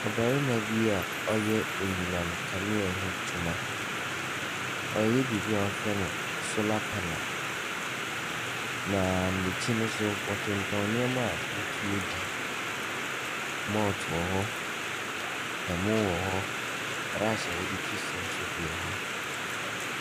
Ɔbarima bi a ɔyɛ anyinam nkanea ho adwuma. Ɔreyɛ biribi a wɔfrɛ no solar panel, na n'akyi no nso, wɔtontɔn nneɛma wɔtumi di. Malt wɔ hɔ, ɛmo wɔ hɔ, brush a wɔde twi se nso bi wɔ hɔ.